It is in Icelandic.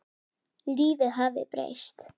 Lífið hafði breyst.